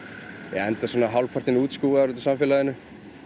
ég enda svona hálfpartinn útskúfaður úr samfélaginu